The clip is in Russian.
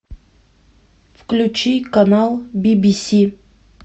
включи канал би би си